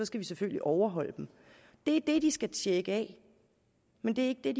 skal vi selvfølgelig overholde dem det er det de skal tjekke af men det er